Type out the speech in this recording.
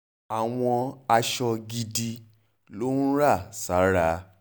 àwọn aṣọ gidi ló ń rà sára sára